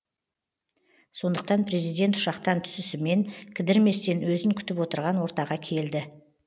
сондықтан президент ұшақтан түсісімен кідірместен өзін күтіп отырған ортаға келді